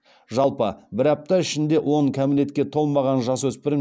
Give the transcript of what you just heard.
жалпы бір апта ішінде он кәмелетке толмаған жасөспірім